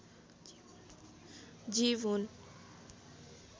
जीव हुन्